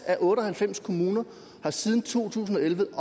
af otte og halvfems kommuner siden to tusind og elleve